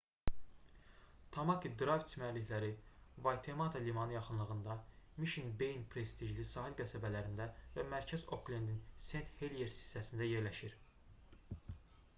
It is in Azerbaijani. tamaki drayv çimərlikləri vaytemata limanı yaxınlığında mişn beyin prestijli sahil qəsəbələrində və mərkəz oklendin sent-heliers hissəsində yerləşir